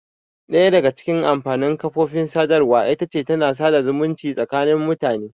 Ɗaya daga cikin amfanin kafofin sadarwa ita ce tana sada zumunci tsakanin mutane.